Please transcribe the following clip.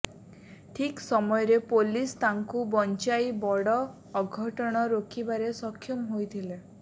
ଠିକ୍ ସମୟରେ ପୋଲିସ ତାଙ୍କୁ ବଞ୍ଚାଇ ବଡ ଅଘଟଣ ରୋକିବାରେ ସକ୍ଷମ ହୋଇଥିଲେ